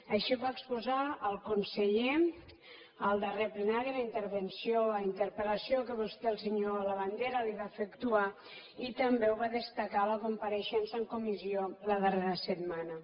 així ho va exposar el conseller en el darrer plenari en la interpel·lació que vostè el senyor labandera li va fer actuar i també ho va destacar a la compareixença en comissió la darrera setmana